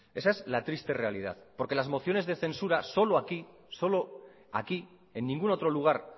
esa es la triste realidad porque las mociones de censura solo aquí solo aquí en ningún otro lugar